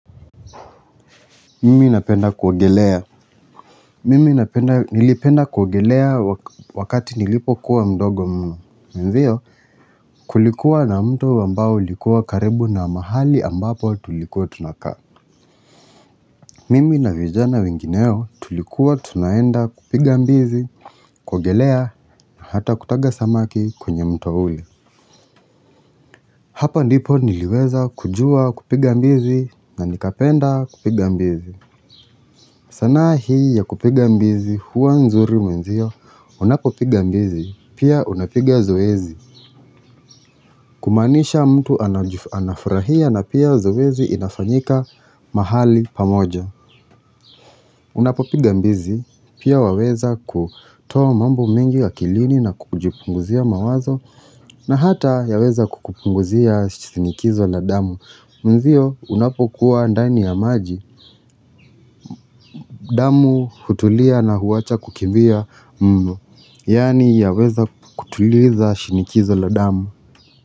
Mimi napenda kuogelea Mimi napenda nilipenda kuogelea wakati nilipokuwa mdogo mno Mwenzio kulikuwa na mti ambao ulikuwa karibu na mahali ambapo tulikuwa tunakaa Mimi na vijana wengineo tulikuwa tunaenda kupiga mbizi, kuogelea na hata kutaga samaki kwenye mto ule Hapa ndipo niliweza kujua kupiga mbizi na nikapenda kupiga mbizi sanaa hii ya kupiga mbizi huwa nzuri mwenzio unapopiga mbizi pia unapiga zoezi kumaanisha mtu anafurahia na pia zoezi inafanyika mahali pamoja Unapopiga mbizi pia waweza kutoa mambo mingi akilini na kujipunguzia mawazo na hata yaweza kukupunguzia shinikizo la damu Mwenzio unapokuwa ndani ya maji damu hutulia na huwacha kukimbia Yaani yaweza kutuliza shinikizo la damu.